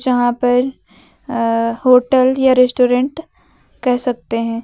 जहां पर अअ होटल या रेस्टोरेंट कह सकते हैं।